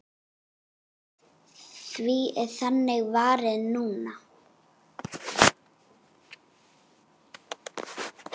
Því er þannig varið núna.